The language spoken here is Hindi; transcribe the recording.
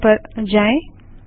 टर्मिनल पर जाएँ